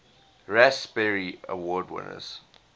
raspberry award winners